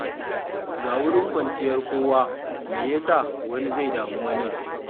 Ga wurin kwanciyar kowa, me ya sa wani zai damu wani?